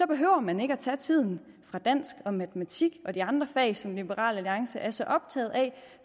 behøver man ikke at tage tiden fra dansk og matematik og de andre fag som liberal alliance er så optaget af